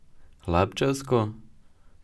Hlapčevsko?